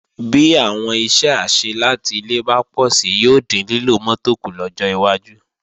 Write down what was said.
Bí àwọn iṣẹ́ àṣẹ láti ilé bá pọ̀si yóò dín lílo mọ́tò kù lọ́jọ́ iwájú